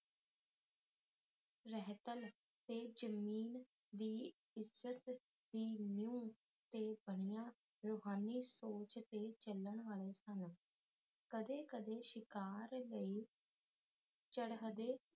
ਰਹਿਤਲ ਤੇ ਜ਼ਮੀਨ ਦੀ ਇੱਜ਼ਤ ਦੀ ਨਿਊ ਤੇ ਬਣੀਆਂ ਰੂਹਾਨੀ ਸੋਚ ਤੇ ਚੱਲਣ ਵਾਲੇ ਸਨ ਕਦੇ ਕਦੇ ਸ਼ਿਕਾਰ ਲਈ ਚਰਹਦੇ